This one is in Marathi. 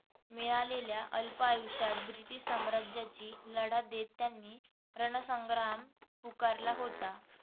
मिळालेल्या अल्प आयुष्यात ब्रिटिश साम्राज्याशी लढा देत त्यांनी रणसंग्राम पुकारला होता.